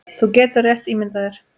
Þú getur rétt ímyndað þér!